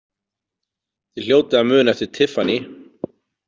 Þið hljótið að muna eftir Tiffany?